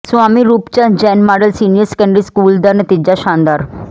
Swami Roop Chand Jain model senior secondary school ਦਾ ਨਤੀਜਾ ਸ਼ਾਨਦਾਰ